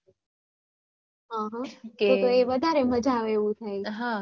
હા હા વધારે મજ્જા આવે એવું થાય